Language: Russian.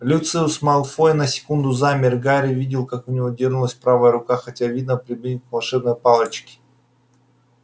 люциус малфой на секунду замер и гарри увидел как у него дёрнулась правая рука хотел видно прибегнуть к волшебной палочке